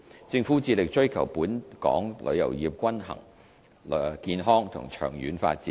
政府致力追求本港旅遊業均衡、健康和長遠發展。